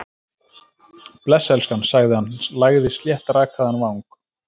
Bless, elskan- sagði hann, lagði sléttrakaðan vang